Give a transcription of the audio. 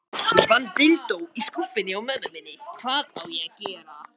Á leið heim